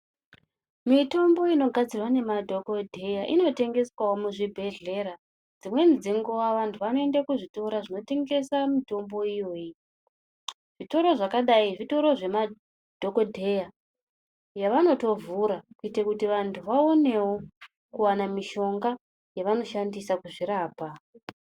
Mitombo inogadzirwa nemadhogodheya inotengeswavo muzvibhedhlera. Dzimweni dzenguva vantu vanoende kuzvitoro zvinotengesa mutombo iyoyi. Zvitoro zvakadai zvitoro zvemadhogodheya zvavanotovhura kuitire kuti vantu vaonevo kuvana mishonga yavanoshandisa kuzvirapa.